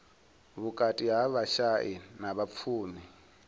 vhukati ha vhashai na vhapfumi